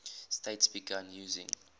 states began using